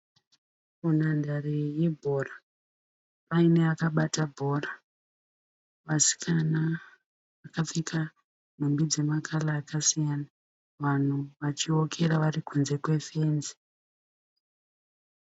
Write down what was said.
Munhandare yebhora. Paine akabata bhora. Vasikana vakapfeka nhumbi dzemakara akasiyana. Vanhu vachiokera vari kunze kwefenzi.